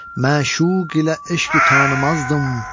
Məşuq ilə eşq itə tanımazdım.